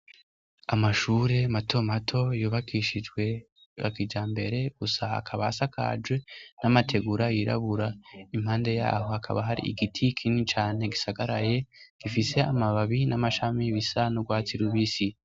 Amashure mato mato yubakishijwe yakijambere gusa akaba asakaje n'amategura yirabura, impande yaho hakaba hari igiti kinini cane gisagaraye gifise amababi n'amashami bisa n'urwatsi rubisi.